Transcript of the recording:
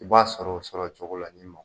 U b'a sɔrɔ o sɔrɔ cogo la ye nin nɔ.